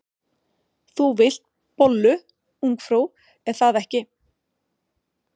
Þú vilt bollu, ungfrú, er það ekki?